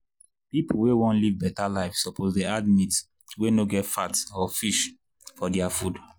people wey wan live better life suppose dey add meat wey no get fat or fish for their food.